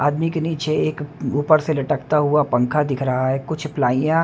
आदमी के नीचे एक ऊपर से लटकता हुआ पंखा दिख रहा है कुछ प्लाइयाँ --